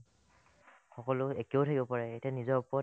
সকলো একেও থাকিব পাৰে এতিয়া নিজৰ ওপৰত